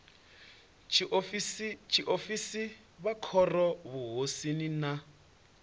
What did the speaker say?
tshiofisi vha khoro muvhusoni na